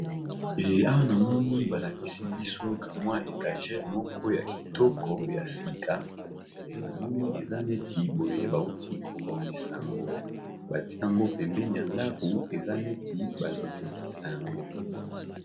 Awa namoni balakisi biso kamwa étagere moko ya kitoko ya sika namoni eza neti boye bauti kobongisa yango bati yango pembeni ya ndako eza neti bazotekisa yango